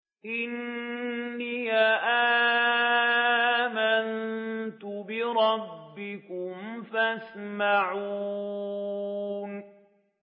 إِنِّي آمَنتُ بِرَبِّكُمْ فَاسْمَعُونِ